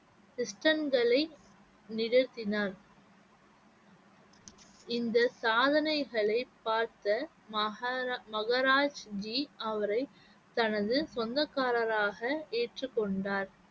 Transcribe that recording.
நிகழ்த்தினார் இந்த சாதனைகளை பார்த்த மகாரா~ மகராஜ்ஜி அவரை தனது சொந்தக்காரராக ஏற்றுக் கொண்டார்